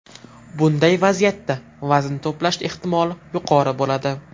Bunday vaziyatda vazn to‘plash ehtimoli yuqori bo‘ladi.